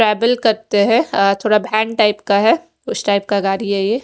travel करते है अ थोडा बेन टाइप का है उस टाइप का गाड़ी है यह--